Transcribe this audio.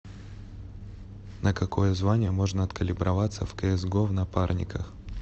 на какое звание можно откалиброваться в кс го в напарниках